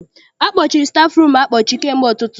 Akpọchiri stafụrum akpọchi kamgbe ụtụtụ.